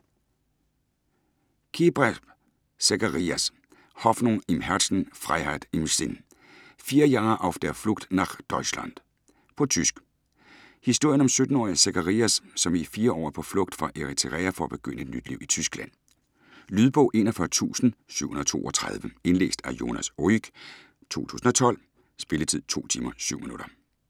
Kebraeb, Zekarias: Hoffnung im Herzen, Freiheit im Sinn: Vier Jahre auf der Flucht nach Deutschland På tysk. Historien om 17-årige Zekarias, som i 4 år er på flugt fra Eritrea for at begynde et nyt liv Tyskland. Lydbog 41732 Indlæst af Jonas Rüegg, 2012. Spilletid: 2 timer, 7 minutter.